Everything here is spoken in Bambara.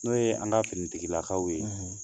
N'o ye an ka finitigilakaw ye